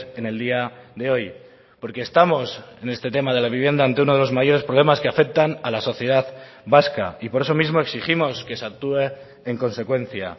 en el día de hoy porque estamos en este tema de la vivienda ante uno de los mayores problemas que afectan a la sociedad vasca y por eso mismo exigimos que se actúe en consecuencia